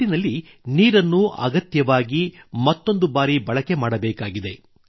ಒಟ್ಟಿನಲ್ಲಿ ನೀರನ್ನು ಅಗತ್ಯವಾಗಿ ಮತ್ತೊಂದು ಬಾರಿ ಬಳಕೆ ಮಾಡಬೇಕಾಗಿದೆ